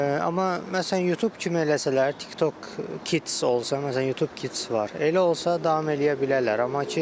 Amma məsələn Youtube kimi eləsələr, TikTok Kids olsa, məsələn Youtube Kids var, elə olsa davam eləyə bilərlər.